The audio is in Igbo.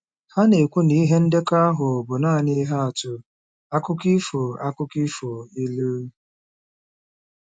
Ha na-ekwu na ihe ndekọ ahụ bụ nanị ihe atụ, akụkọ ifo, akụkọ ifo, ilu.